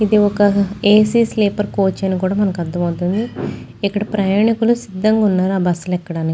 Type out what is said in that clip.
ఇది ఒక ఏ.సీ. స్లేపర్చిన కోచ్ అని కూడా మనకి అర్ధం అవుతుంది. ఇక్కడ ప్రయాణికులు సిద్ధంగా ఉన్నారా ఆ బస్సు లో ఎక్కడానికి.